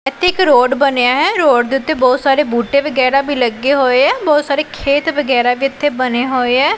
ਇੱਥੇ ਇੱਕ ਰੋਡ ਬਣਿਆ ਹੈ ਰੋਡ ਦੇ ਓੱਤੇ ਬਹੁਤ ਸਾਰੇ ਬੂਟੇ ਵਗੈਰਾ ਵੀ ਲੱਗੇ ਹੋਏ ਐ ਬਹੁਤ ਸਾਰੇ ਖੇਤ ਵਗੈਰਾ ਵੀ ਇੱਥੇ ਬਣੇ ਹੋਏ ਐ।